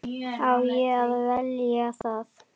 Á ég að velja það?